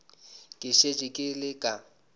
ke šetše ke le ka